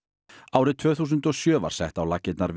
árið tvö þúsund og sjö var sett á laggirnar